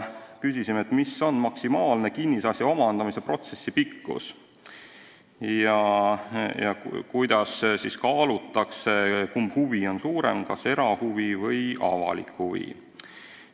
Küsisime, milline on maksimaalne kinnisasja omandamise protsessi pikkus ja kuidas sel juhul kaalutakse, kumb huvi on suurem: kas erahuvi või avalik huvi.